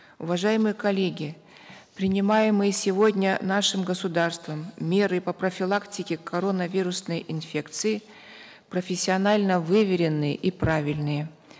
уважаемые коллеги принимаемые сегодня нашим государством меры по профилактике коронавирусной инфекции профессионально выверенные и правильные